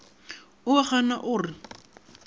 o a gana o re